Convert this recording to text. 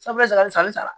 Sabula ni san sara